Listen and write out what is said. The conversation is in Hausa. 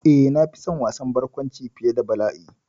Eh, na fi son wasan barkwanci fiye da bala'i.